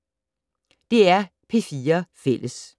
DR P4 Fælles